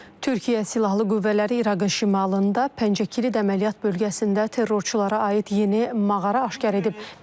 Türkiyə Silahlı Qüvvələri İraqın şimalında Pəncəkirid əməliyyat bölgəsində terrorçulara aid yeni mağara aşkar edib.